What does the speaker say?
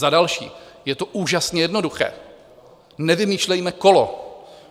Za další, je to úžasně jednoduché, nevymýšlejme kolo.